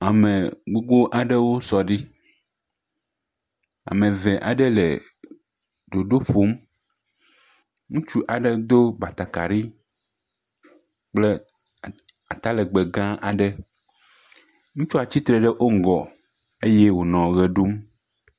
Ame gbogbo aɖewo sɔ ɖi, ame ve aɖe le ɖoɖo ƒom, ŋutsu aɖe do batakari kple atalegbe gã aɖe, ŋutsua tsi tre ɖe wo ŋgɔ eye wònɔ ʋe ɖum.